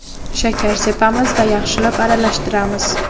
Shakar sepamiz va yaxshilab aralashtiramiz.